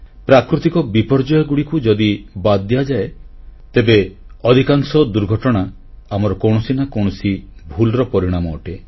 ପ୍ରାକୃତିକ ବିପର୍ଯ୍ୟୟଗୁଡ଼ିକୁ ଯଦି ବାଦ୍ ଦିଆଯାଏ ତେବେ ଅଧିକାଂଶ ଦୁର୍ଘଟଣା ଆମର କୌଣସି ନା କୌଣସି ଭୁଲର ପରିଣାମ ଅଟେ